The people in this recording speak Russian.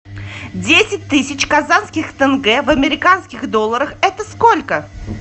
десять тысяч казахских тенге в американских долларах это сколько